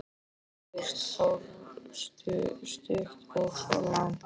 Fyrst fórstu stutt og svo langt.